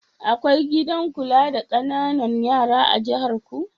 Akwai gidan kula da ƙananan yara da jiharku?